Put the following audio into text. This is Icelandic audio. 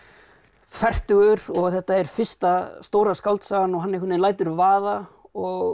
fertugur og þetta er fyrsta stóra skáldsagan og hann einhvern lætur vaða og